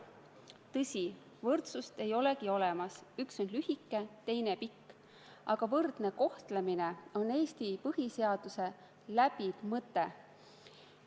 Tõsi, võrdsust ei olegi olemas, üks on lühike, teine pikk, aga võrdne kohtlemine on Eesti põhiseaduse läbiv mõte.